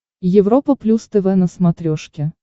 европа плюс тв на смотрешке